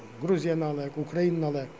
грузияны алайық украинаны алайық